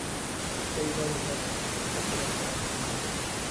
Iska ilaali inaad cuntid cunto qudhuntay ama xumaatay.